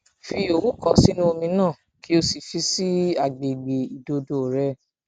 fi owu kan sínú omi naa kó o sì fi sí àgbègbè ìdodo rẹ